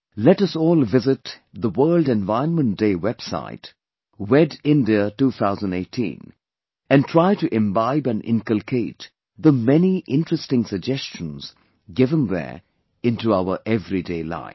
Let us all visit the World Environment Day website 'wedindia 2018' and try to imbibe and inculcate the many interesting suggestions given there into our everyday life